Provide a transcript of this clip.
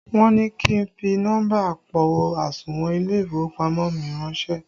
Wọn ní kí n fi nọ́mbà àpò àsùnwọ̀n ilé ìfowópamọ́ mi ránsẹ́